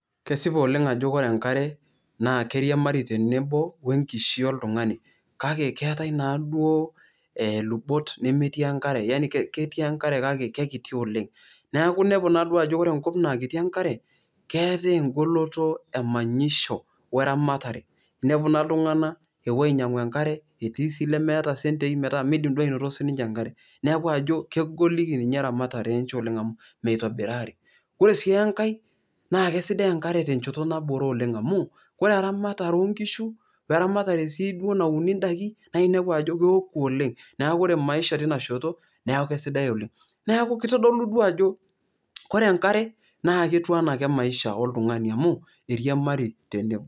kesipa oleng ajo ore enkare naa keiriamari tenebo oenkishu oltungani . kake keetae naaduoo ilubot nemetii enkare kake kekiti oleng . neeku inepu naaduo ajoore enkop naa kiti enkare , keetae engoloto emanyisho we eramatare . inepu naa iltunganak epuo ainyiangu enkare etii sii lemeeta sentei metaa midim duo sininche anotito enkare. niaku ajo kegol ninche eramatare enche amu meitobirari. ore sii enkae naa kisidai enkare tenchoto nabore oleng amu ore eramare oonkishu oe eramatare sii duo nauni ndaiki